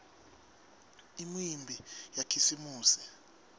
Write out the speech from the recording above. imiumbi yakhisimusi